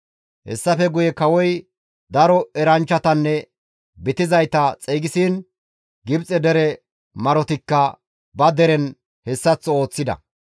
Hessafe guye kawozi daro eranchchatanne bitizayta xeygisiin Gibxe dere marotikka ba deren hessaththo ooththida.